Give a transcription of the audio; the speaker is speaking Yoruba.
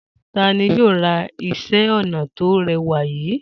Ta ni yóò ra iṣẹ́-ọnà tó rẹwà yìí?